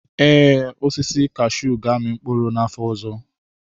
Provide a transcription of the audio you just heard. Ee, osisi kashuu ga-amị mkpụrụ n'afọ ọzọ.